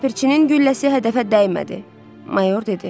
Ləpirçinin gülləsi hədəfə dəymədi, mayor dedi.